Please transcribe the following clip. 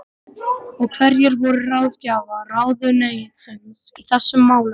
Og hverjir voru ráðgjafar ráðuneytisins í þessum málum?